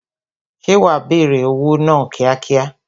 Ṣé wa bẹ̀rẹ̀ òwò náà kíákíá?